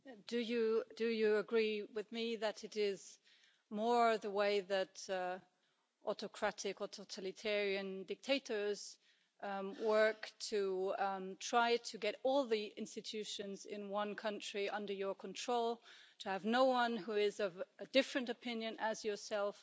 Mr Dzhambazki, do you agree with me that it is more the way that autocratic or totalitarian dictators work to try to get all the institutions in one country under your control, to have no one who is of a different opinion to yourself?